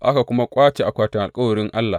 Aka kuma ƙwace akwatin alkawarin Allah.